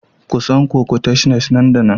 Kusan coquettishnes nan da nan